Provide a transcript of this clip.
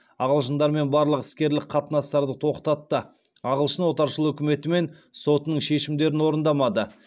ағылшындармен барлық іскерлік қатынастарды тоқтатты ағылшын отаршыл үкіметі мен сотының шешімдерін орындамады